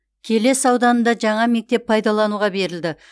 келес ауданында жаңа мектеп пайдалануға берілді